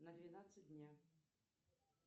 на двенадцать дня